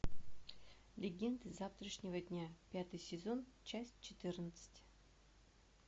легенды завтрашнего дня пятый сезон часть четырнадцать